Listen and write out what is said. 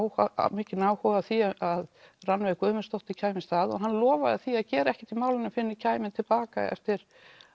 mikinn áhuga á því að Rannveig Guðmundsdóttir kæmist að og hann lofaði því að gera ekkert í málinu fyrr en ég kæmi til baka eftir